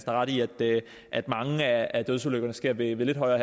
har ret i at mange af dødsulykkerne sker ved lidt højere